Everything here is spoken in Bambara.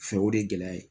Fɛ o de ye gɛlɛya ye